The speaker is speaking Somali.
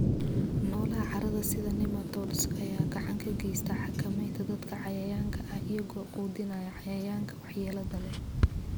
Noolaha carrada, sida nematodes, ayaa gacan ka geysta xakameynta dadka cayayaanka ah iyagoo quudinaya cayayaanka waxyeelada leh.